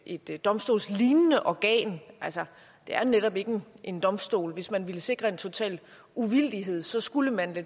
et domstolslignende organ det er netop ikke en domstol hvis man ville sikre en total uvildighed skulle man give